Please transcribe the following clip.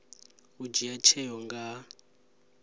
u dzhia tsheo nga ha